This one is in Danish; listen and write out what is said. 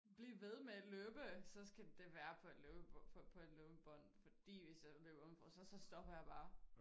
Blive ved med at løbe så skal det være på et løbebånd fordi hvis jeg løber uden for så stopper jeg bare